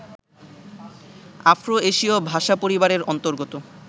Afro এশীয় ভাষাপরিবারের অন্তর্গত